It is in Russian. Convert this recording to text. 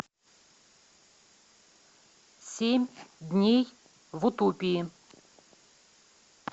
семь дней в утопии